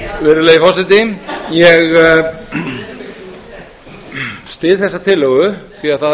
virðulegi forseti ég styð þessa tillögu því það